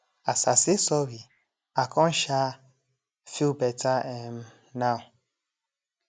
as i say sorry i con um feel better um now